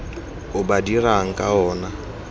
o ba dirang ka ona